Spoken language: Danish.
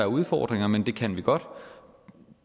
udfordringer men det kan vi godt